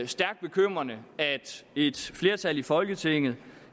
et flertal i folketinget